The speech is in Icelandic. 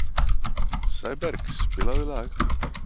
Sæberg, spilaðu lag.